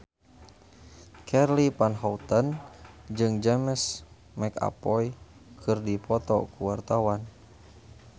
Charly Van Houten jeung James McAvoy keur dipoto ku wartawan